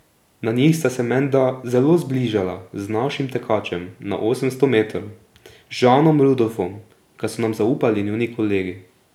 Na njih sta se menda zelo zbližala z našim tekačem na osemsto metrov, Žanom Rudolfom, kar so nam zaupali njuni kolegi.